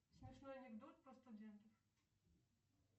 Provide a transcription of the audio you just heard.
смешной анекдот про студентов